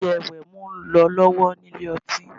Wẹ̀jẹ-wẹ̀mu ń lọ lọ́wọ́ nílé ọtí